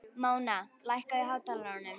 Móna, lækkaðu í hátalaranum.